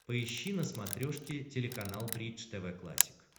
поищи на смотрешке телеканал бридж тв классик